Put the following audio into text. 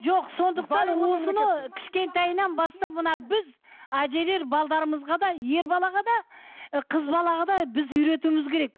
жоқ сондықтан осыны кішкентайынан бастап мына біз әжелер да ер балаға да ы қыз балаға да біз үйретуіміз керек